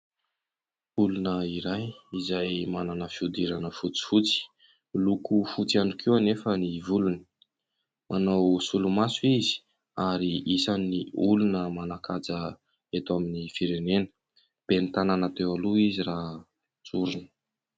Olona iray izay manana fihodirana fotsifotsy, miloko fotsy ihany koa nefa ny volony. Manao solomaso izy ary isan'ny olona manan-kaja eto amin'ny firenena. Ben'ny tanana teo aloha izy raha tsorina.